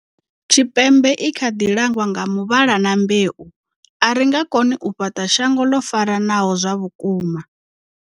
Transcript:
Tshipembe i kha ḓi langwa nga muvhala na mbeu, a ri nga koni u fhaṱa shango ḽo faranaho zwa vhukuma.